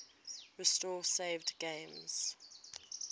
restore saved games